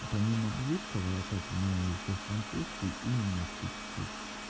помимо английского я так знаю ещё французский и немецкий чуть-чуть